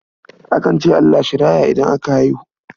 Akan ce Allah shi raya idan aka haihu.